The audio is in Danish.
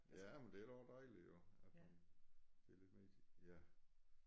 Ja men det er da også dejligt jo at man får lidt mere tid ja